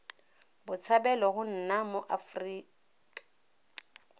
botshabelo go nna mo aforika